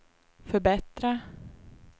förbättra